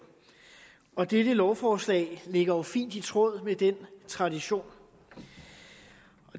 og dette lovforslag ligger jo fint i tråd med den tradition